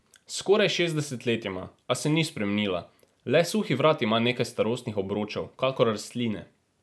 Skoraj šestdeset let ima, a se ni spremenila, le suhi vrat ima nekaj starostnih obročev, kakor rastline.